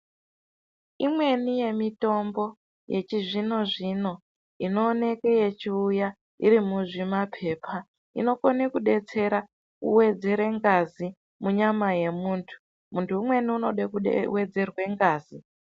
Imweni yemitombo yechizvino zvino inooneke yechiuya muzvimapepa inokone kudetsera kuwedzere ngazi munyama yemuntu, muntu umweni unode kuwedzerwe ngazi.